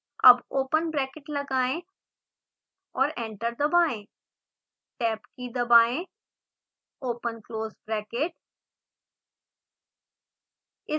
अब open bracket लगाएं और एंटर दबाएं tab की key दबाएं ओपन क्लोज़ ब्रैकेट